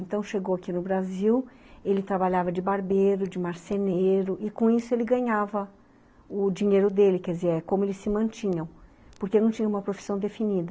Então, chegou aqui no Brasil, ele trabalhava de barbeiro, de marceneiro, e com isso ele ganhava o dinheiro dele, quer dizer, como eles se mantinham, porque não tinha uma profissão definida.